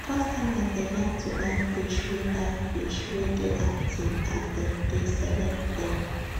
customers dey like to buy fish wey buy fish wey dey active as them dey select them